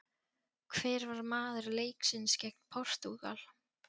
Hver var maður leiksins gegn Portúgal?